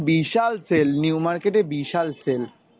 বিশাল sell new market এ বিশাল sell.